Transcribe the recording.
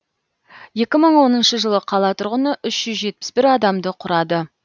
екі мың оныншы жылы қала тұрғыны үш жүз жетпіс бір адамды құрады